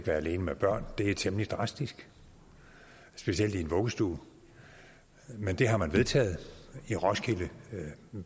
være alene med børn det er temmelig drastisk specielt i en vuggestue men det har man vedtaget i roskilde